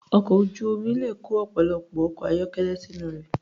Ọkọ̀ ojú omi le kó ọ̀pọ̀lọpọ̀ ọkọ̀ ayọ́kẹ́lẹ́ sínú rẹ̀.